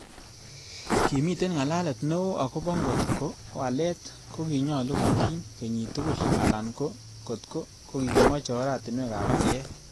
Kimiten ngalalet neo agobo ngot ko walet kokinyolu kotiny kenyit tugul, alan ko kotko kokimoche oratinwek ab pcheet.